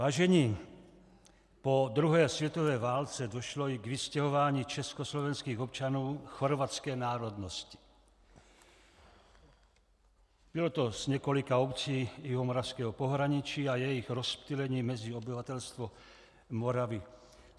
Vážení, po druhé světové válce došlo i k vystěhování československých občanů chorvatské národnosti, bylo to z několika obcí jihomoravského pohraničí, a jejich rozptýlení mezi obyvatelstvo Moravy.